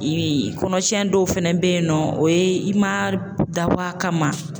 Ee kɔnɔ tiɲɛn dɔw fɛnɛ be yen nɔ, o ye i ma dabɔ a kama.